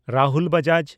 Rahul Bajaj